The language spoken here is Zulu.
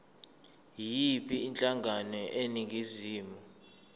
yiyiphi inhlangano eningizimu